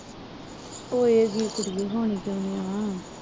ਹੋਏ ਗੀ ਕੁੜੀਏ ਹੋਣੀ ਕਿਉਂ ਨੀ ਆ